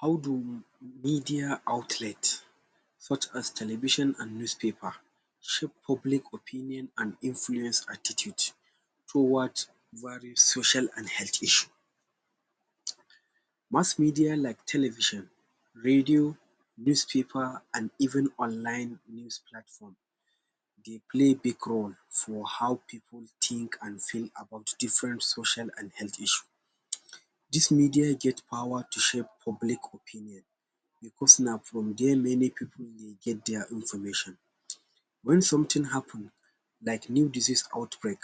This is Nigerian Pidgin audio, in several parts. How do media outlet such as television an newspaper shape public opinion an influence attitude towards various social an health issue? Mass media like television, radio, newspaper an even online news platform dey play big role for how pipu think an feel about different social an health issue. Dis media get power to shape public opinion, becos na from there many pipu dey get dia information. Wen something happen like new disease outbreak,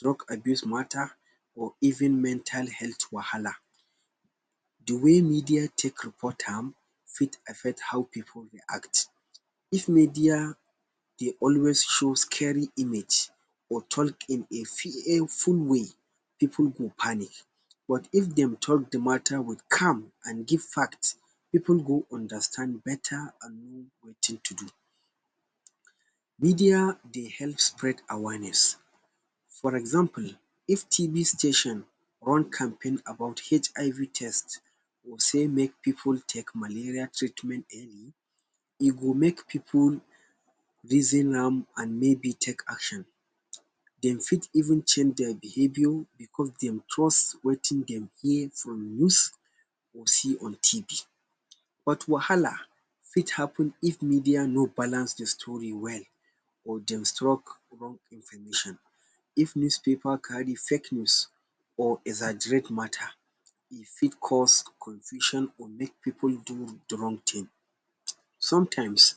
drug abuse matter or even mental health wahala, the way media take report am fit affect how pipu react. If media dey always show scary image or talk in a fearful way, pipu go panic. But if dem talk the matter with calm, an give fact, pipu go understand beta an know wetin to do. Media dey help spread awareness. For example, if TB station run campaign about HIV test, or say make pipu take malaria treatment early, e go make pipu reason am, an maybe take action. Dem fit even change dia behaviour becos dem trust wetin dem hear from news, or see on TB. But wahala fit happen if media no balance the story well or dem struck wrong information. If newspaper carry fake news or exaggerate matter, e fit cause confusion or make pipu do the wrong tin. Sometimes,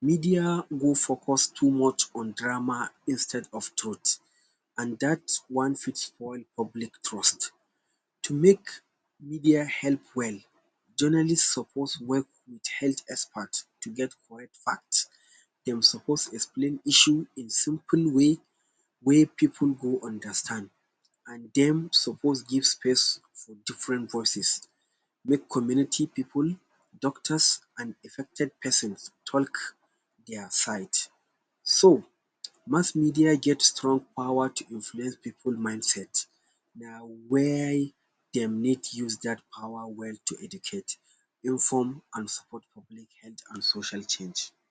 media go focus too much on drama instead of truth, an dat one fit spoil public trust. To make media help well, journalist suppose work with health expert to get correct fact. Dem suppose explain issue in simple way wey pipu go understand, an dem suppose give space for different voices make community pipu, doctors an affected pesins talk dia side. So, mass media get strong power to influence pipu mindset. Na why dem need use dat power well to educate, inform, an support public health an social change.